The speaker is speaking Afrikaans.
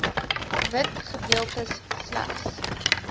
wit gedeeltes slegs